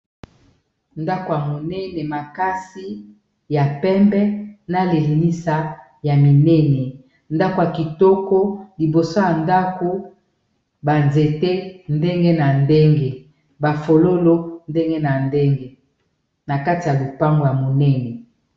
ndako ya monene makasi ya pembe na leenisa ya minene ndako ya kitoko liboso ya ndako banzete ndenge na ndenge bafololo ndenge na ndenge na kati ya lopango ya monene